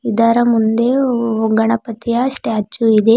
ಇದರ ಮುಂದೆ ಒ ಓಂ ಗಣಪತಿಯ ಸ್ಟಾಚು ಇದೆ.